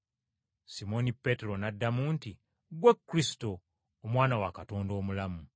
Simooni Peetero n’addamu nti, “Ggwe Kristo, Omwana wa Katonda omulamu.”